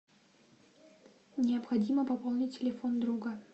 необходимо пополнить телефон друга